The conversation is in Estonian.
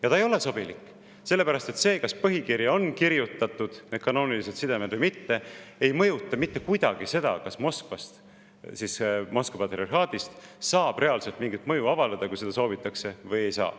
Ja ta ei ole sobilik, sellepärast et see, kas põhikirja on kirjutatud need kanoonilised sidemed või mitte, ei mõjuta mitte kuidagi seda, kas Moskva patriarhaadist saab reaalselt mingit mõju avaldada, kui seda soovitakse, või ei saa.